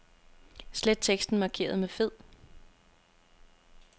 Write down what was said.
Slet teksten markeret med fed.